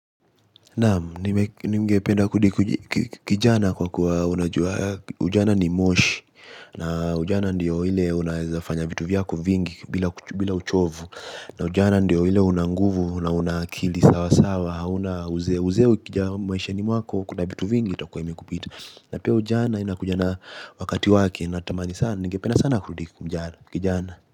Naam ningependa kudikijana kwa kuwa unajua ujana ni moshi. Na ujana ndio ile unaezafanya vitu vyako vingi bila uchovu. Na ujana ndio ile unanguvu na unaakili sawa sawa hauna uzee uzee ukija maishani mwako kuna vitu vingi itakuwa imekupita. Na pia ujana inakuja na wakati wake na tamani sana ningependa sana kurudi kijana kijana.